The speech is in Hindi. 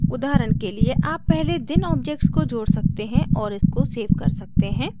उदाहरण के लिए आप पहले दिन objects को जोड़ सकते हैं और इसको सेव कर सकते हैं